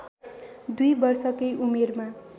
दुई वर्षकै उमेरमा